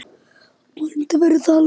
Vonandi verður það aldrei.